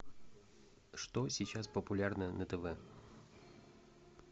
что сейчас популярно на тв